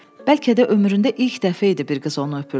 Bəlkə də ömründə ilk dəfə idi bir qız onu öpürdü.